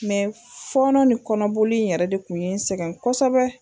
Mɛ fɔɔnɔ ni kɔnɔboli in yɛrɛ de kun ye n sɛgɛn kosɛbɛ